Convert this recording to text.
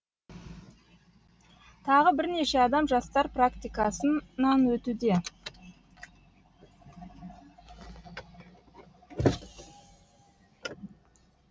тағы бірнеше адам жастар практикасынан өтуде